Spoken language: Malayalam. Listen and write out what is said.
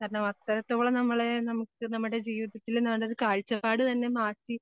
കാരണം അത്രത്തോളം നമ്മളെ നമുക്ക് നമ്മുടെ ജീവിതത്തിലിന്ന് വേണ്ടൊരു കാഴ്ചപ്പാട് തന്നെ മാറ്റി